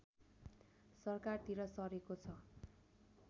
सरकारतिर सरेको छ